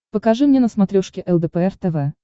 покажи мне на смотрешке лдпр тв